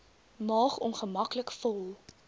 maag ongemaklik vol